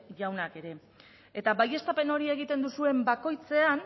jaunak ere baieztapen hori egiten duzuen bakoitzean